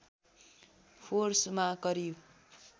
फोर्समा करिब